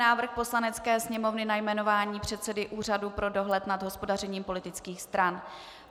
Návrh Poslanecké sněmovny na jmenování předsedy Úřadu pro dohled nad hospodařením politických stran